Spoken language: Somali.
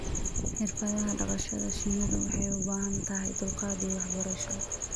Xirfadaha dhaqashada shinnidu waxay u baahan tahay dulqaad iyo waxbarasho.